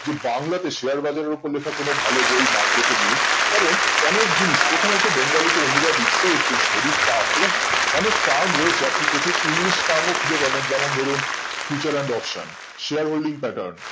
যে বাংলাদেশ এ share বাজারের ওপর লেখা কোনো ভালো বই market এ নেই কারণ অনেক জিনিস প্রথমত bengali তে অনুবাদ নিশ্চয় it is very tuff এবং অনেক term রয়েছে আপনি প্রচুর english কারণ ও খুঁজে পাবেন যেমন ধরুন future and optionshare holing titan